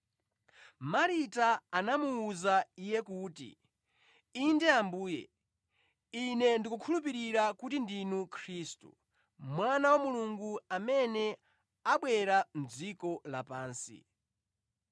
Marita anamuwuza Iye kuti, “Inde Ambuye, ine ndikukhulupirira kuti ndinu Khristu, Mwana wa Mulungu, amene abwera mʼdziko lapansi.”